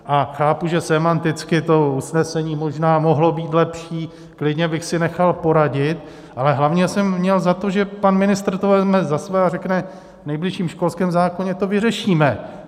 A chápu, že sémanticky to usnesením možná mohlo být lepší, klidně bych si nechal poradit, ale hlavně jsem měl za to, že pan ministr to vezme za své a řekne: v nejbližším školském zákoně to vyřeším.